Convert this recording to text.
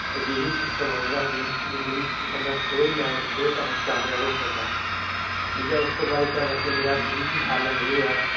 ਅਜਿਹਾ system ਆ ਜਿਹੜਾ ਬੰਦਾ ਜਿੰਦਗੀ ਚ ਥੋੜੇ level ਅਹ ਥੋੜੇ time ਚ ਕਾਮਯਾਬ ਹੋ ਸਕਦਾ। ਠੀਕ ਹੈ ਉਦੂ ਬਾਅਦ ਮੇਰਾ ਕੋਈ ਵੀ ਹੱਲ ਨਹੀਂ ਹੋਇਆ।